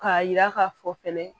K'a yira k'a fɔ fɛnɛ